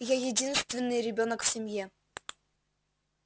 я единственный ребёнок в семье